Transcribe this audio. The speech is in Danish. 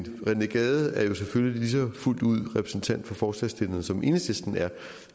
rené gade er selvfølgelig lige så fuldt ud repræsentant for forslagsstillerne som enhedslisten er